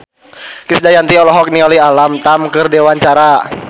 Krisdayanti olohok ningali Alam Tam keur diwawancara